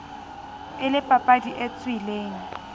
e le papadi e tswileng